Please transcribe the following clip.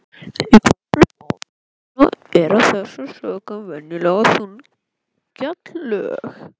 Í botni apalhrauna eru af þessum sökum venjulega þunn gjalllög.